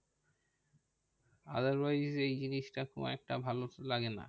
Otherwise এই জিনিসটা খুব একটা ভালো তো লাগে না।